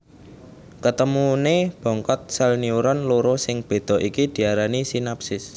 Ketemuné bongkot sèl neuron loro sing béda iki diarani sinapsis